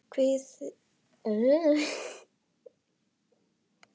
Hvíl í friði, elsku vinur.